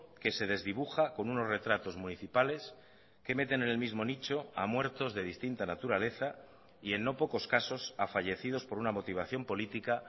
que se desdibuja con unos retratos municipales que meten en el mismo nicho a muertos de distinta naturaleza y en no pocos casos a fallecidos por una motivación política